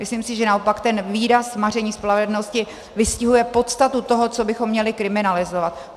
Myslím si, že naopak ten výraz maření spravedlnosti vystihuje podstatu toho, co bychom měli kriminalizovat.